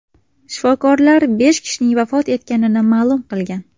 Shifokorlar besh kishining vafot etganini ma’lum qilgan.